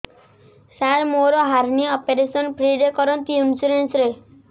ସାର ମୋର hernia operation free ରେ କରନ୍ତୁ ଇନ୍ସୁରେନ୍ସ ରେ